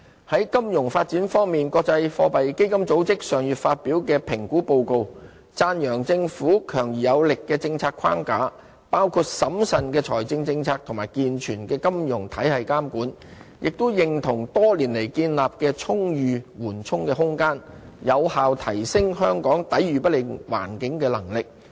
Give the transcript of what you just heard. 在金融發展方面，國際貨幣基金組織上月發表的評估報告讚揚政府強而有力的政策框架，包括審慎的財政政策及健全的金融體系監管，也認同多年來建立的充裕緩衝空間有效提升香港抵禦不利環境的能力。